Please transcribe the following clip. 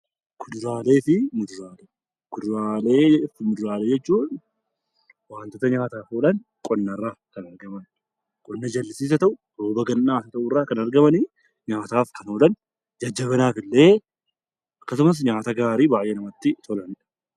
Kuduraalee fi muduraalee. Kuduraalee fi muduraalee jechuun wantoota nyaataaf oolan qonna irraa kan argaman, qonna jallisiis haa ta'u rooba gannaa irraa kan argaman nyaataaf kan oolan jajjabina qaamaaf, akkasumas nyaata gaarii fi kan namatti tolaniidha.